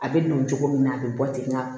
A bɛ nɔɔni cogo min na a bɛ bɔ ten nga